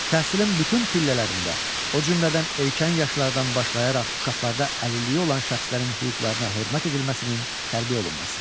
Təhsilin bütün pillələrində, o cümlədən erkən yaşlardan başlayaraq uşaqlarda əlilliyi olan şəxslərin hüquqlarına hörmət edilməsinin tərbiyə olunması.